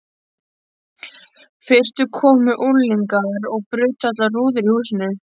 Fyrst komu unglingar og brutu allar rúður í húsinu.